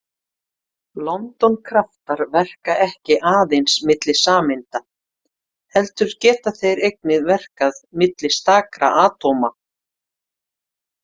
London-kraftar verka ekki aðeins milli sameinda heldur geta þeir einnig verkað milli stakra atóma.